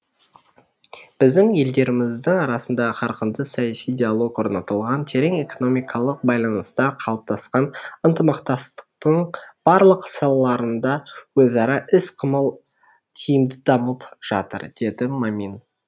біздің елдеріміздің арасында қарқынды саяси диалог орнатылған терең экономикалық байланыстар қалыптасқан ынтымақтастықтың барлық салаларында өзара іс қимыл тиімді дамып жатыр деді мамин